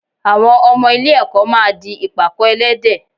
Àwọn ọmọ ilé-ẹ̀kọ́ máa di ìpàkọ́ ẹlẹ́dẹ̀